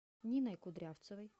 ниной кудрявцевой